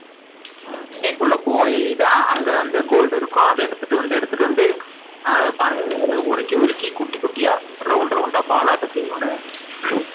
தண்ணிக்குள்ள போய் தான் அங்கவந்து இருக்கும் gold அத எடுத்துட்டு வந்து, எடுத்துட்டு வந்து உருக்கி, உருக்கி குட்டி குட்டி ball